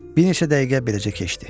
Bir neçə dəqiqə beləcə keçdi.